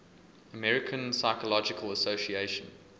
american psychological association